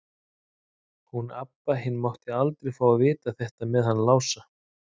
Hún Abba hin mátti aldrei fá að vita þetta með hann Lása.